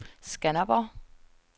Skanderborg